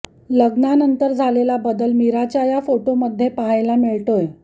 लग्नानंतर झालेला बदल मीराच्या या फोटोंमध्ये पाहायला मिळतोय